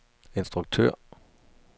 instruktør